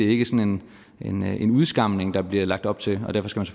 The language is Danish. ikke sådan en en udskamning der bliver lagt op til og derfor skal